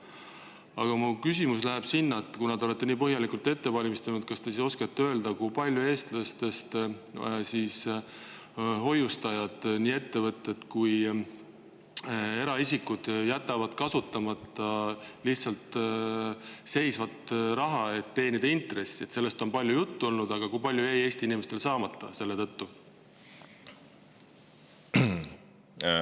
Aga ma küsin, et kuna te olete nii põhjalikult ette valmistanud, siis kas te oskate öelda, kui palju hoiustajatel, nii ettevõtetel kui ka eraisikutel, kes jätavad raha kasutamata, lihtsalt seisma, et teenida intressi, millest on palju juttu olnud, jäi neil Eesti inimestel selle tõttu saamata.